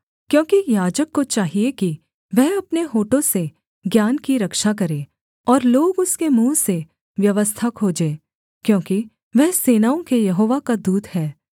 क्योंकि याजक को चाहिये कि वह अपने होठों से ज्ञान की रक्षा करे और लोग उसके मुँह से व्यवस्था खोजे क्योंकि वह सेनाओं के यहोवा का दूत है